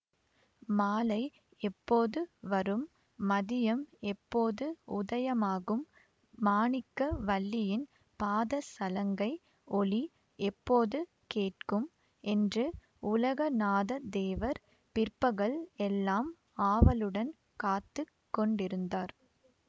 மாலை எப்போது வரும் மதியம் எப்போது உதயமாகும் மாணிக்க வல்லியின் பாத சலங்கை ஒலி எப்போது கேட்கும் என்று உலகநாதத்தேவர் பிற்பகல் எல்லாம் ஆவலுடன் காத்து கொண்டிருந்தார்